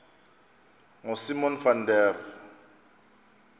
ngosimon van der